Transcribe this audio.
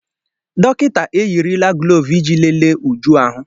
Dọkịta eyirila glọọvụ iji lelee Uju ahụ.